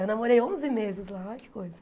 Eu namorei onze meses lá, olha que coisa.